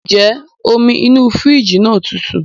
Ǹjẹ́ omi inú fírìjì náà tutù?